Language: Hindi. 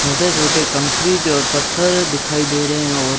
छोटे छोटे कंक्रीट और पत्थर दिखाई दे रहे हैं और--